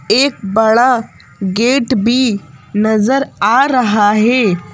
एक बड़ा गेट भी नजर आ रहा है।